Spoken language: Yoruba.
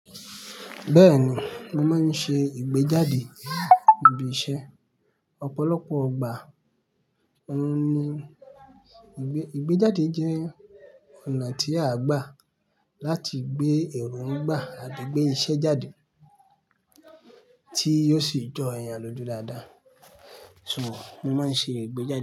Bẹ́ẹ̀ni, mo máa ń ṣe ìgbéjáde ibi iṣẹ́. Ọ̀pọ̀lọpọ̀ igbà ouń ní ìgbéjáde jẹ́ ọ̀nà tí a gbà láti gbé èrò ń gbà àti gbé iṣẹ́ jáde tí yóò sì jọ èèyàn lójú dáadáa. So, mo máa ń ṣe ìgbéjáde.